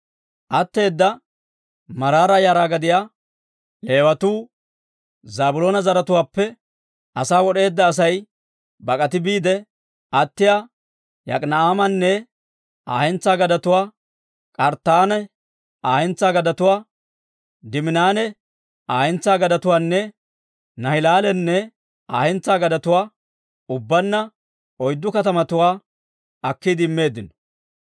Atteeda Maraara yara gidiyaa Leewatoo Zaabiloona zaratuwaappe asaa wod'eedda Asay bak'ati biide attiyaa Yok'ina'aamanne Aa hentsaa gadetuwaa, K'arttaanne Aa hentsaa gadetuwaa, Diiminanne Aa hentsaa gadetuwaanne Naahilaalanne Aa hentsaa gadetuwaa, ubbaanna oyddu katamatuwaa akkiide immeeddino.